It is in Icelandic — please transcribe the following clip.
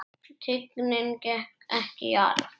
Tignin gekk ekki í arf.